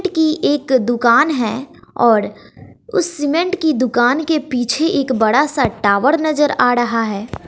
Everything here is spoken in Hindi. सीमेंट की एक दुकान है और उस सीमेंट की दुकान के पीछे एक बड़ा सा टॉवर नजर आ रहा है।